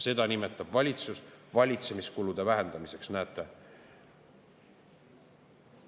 Seda nimetab valitsus valitsemiskulude vähendamiseks, näete!